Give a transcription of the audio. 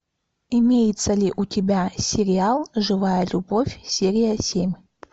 имеется ли у тебя сериал живая любовь серия семь